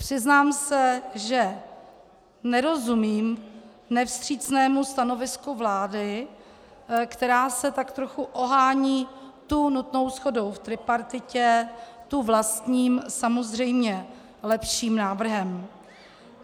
Přiznám se, že nerozumím nevstřícnému stanovisku vlády, která se tak trochu ohání tu nutnou shodou v tripartitě, tu vlastním, samozřejmě lepším návrhem.